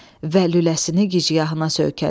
Və lüləsini gicgahına söykədi.